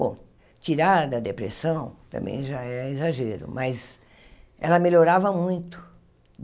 Bom, tirar da depressão também já é exagero, mas ela melhorava muito.